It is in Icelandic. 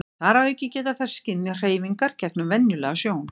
þar að auki geta þær skynjað hreyfingar gegnum venjulega sjón